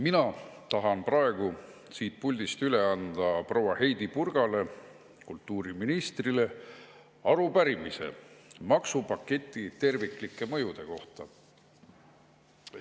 Mina tahan praegu siit puldist üle anda proua Heidy Purgale, kultuuriministrile, arupärimise maksupaketi terviklike mõjude kohta.